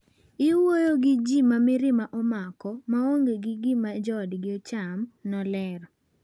"Iwuoyo gi ji ma mirima omako, maonge gi gima joodgi cham," nolero.